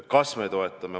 Kas me toetame?